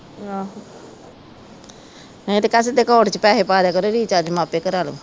ਨਹੀਂ ਤੇ ਕਹਿ ਸਿੱਧੇ ਅਕਾਊਂਟ ਚ ਪੈਸੇ ਪਾ ਦਿਆ ਕਰੋ ਰਿਚਾਰਜ ਮੈ ਆਪੇ ਕਰਾਲੂ